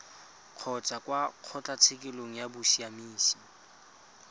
kgotsa kwa kgotlatshekelo ya bosiamisi